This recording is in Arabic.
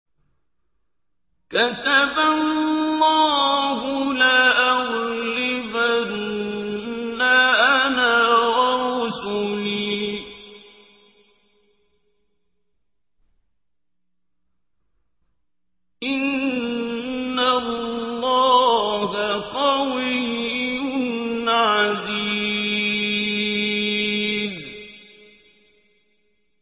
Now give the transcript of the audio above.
كَتَبَ اللَّهُ لَأَغْلِبَنَّ أَنَا وَرُسُلِي ۚ إِنَّ اللَّهَ قَوِيٌّ عَزِيزٌ